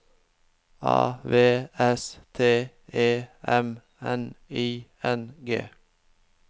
A V S T E M N I N G